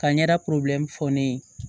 Ka ɲɛda fɔ ne ye